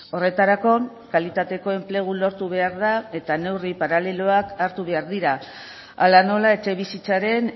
horretarako kalitateko enplegu lortu behar da eta neurri paraleloak hartu behar dira hala nola etxebizitzaren